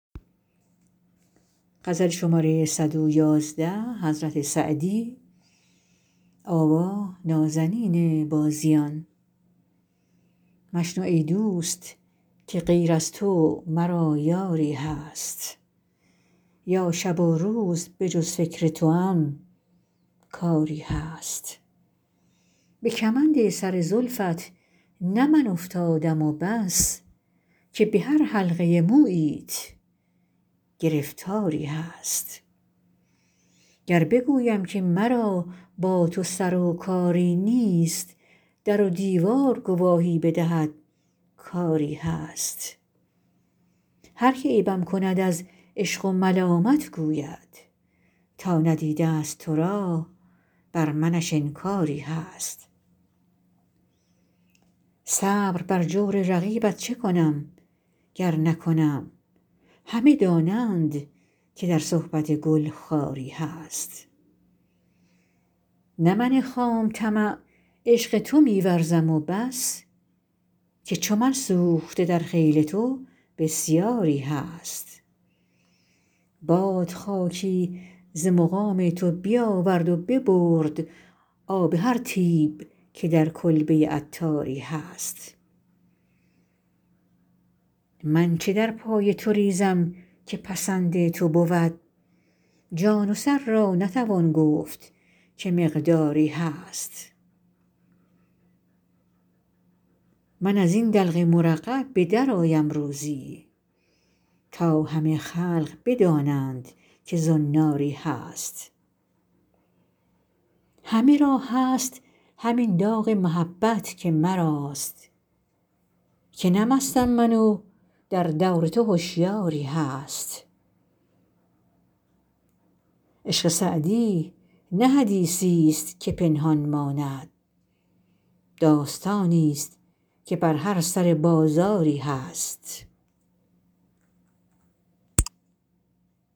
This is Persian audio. مشنو ای دوست که غیر از تو مرا یاری هست یا شب و روز به جز فکر توام کاری هست به کمند سر زلفت نه من افتادم و بس که به هر حلقه موییت گرفتاری هست گر بگویم که مرا با تو سر و کاری نیست در و دیوار گواهی بدهد کآری هست هر که عیبم کند از عشق و ملامت گوید تا ندیده است تو را بر منش انکاری هست صبر بر جور رقیبت چه کنم گر نکنم همه دانند که در صحبت گل خاری هست نه من خام طمع عشق تو می ورزم و بس که چو من سوخته در خیل تو بسیاری هست باد خاکی ز مقام تو بیاورد و ببرد آب هر طیب که در کلبه عطاری هست من چه در پای تو ریزم که پسند تو بود جان و سر را نتوان گفت که مقداری هست من از این دلق مرقع به درآیم روزی تا همه خلق بدانند که زناری هست همه را هست همین داغ محبت که مراست که نه مستم من و در دور تو هشیاری هست عشق سعدی نه حدیثی است که پنهان ماند داستانی است که بر هر سر بازاری هست